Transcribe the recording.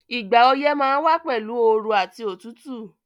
Ìgbà oyẹ́ ma n wa pẹ̀lu ooru àti otútù